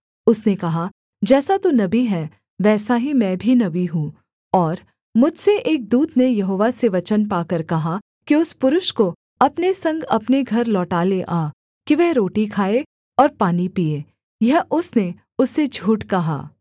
उसने कहा जैसा तू नबी है वैसा ही मैं भी नबी हूँ और मुझसे एक दूत ने यहोवा से वचन पाकर कहा कि उस पुरुष को अपने संग अपने घर लौटा ले आ कि वह रोटी खाए और पानी पीए यह उसने उससे झूठ कहा